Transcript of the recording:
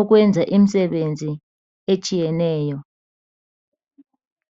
ukwenza imisebenzi etshiyeneyo.